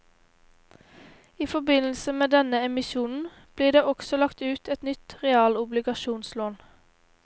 I forbindelse med denne emisjonen blir det også lagt ut et nytt realobligasjonslån.